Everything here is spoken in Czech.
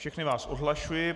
Všechny vás odhlašuji.